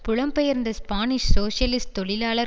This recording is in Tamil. புலம்பெயர்ந்த ஸ்பானிஷ் சோசியலிஸ்ட் தொழிலாளர்